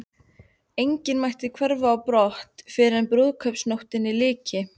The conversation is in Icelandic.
Enginn mætti hverfa á brott fyrren brúðkaupsnóttinni lyki.